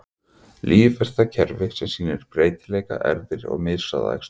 Líf er það kerfi sem sýnir breytileika, erfðir, og mishraða æxlun.